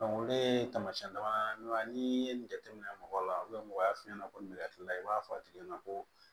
ne ye taamasiyɛn damadɔ n'i ye nin jateminɛ mɔgɔ la mɔgɔ y'a f'i ɲɛna ko nin lakilila i b'a fɔ a tigi ɲɛna ko